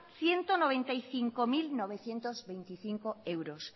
ciento noventa y cinco mil novecientos veinticinco euros